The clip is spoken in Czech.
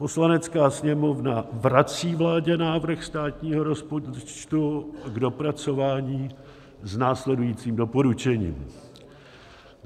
Poslanecká sněmovna vrací vládě návrh státního rozpočtu k dopracování s následujícím doporučením: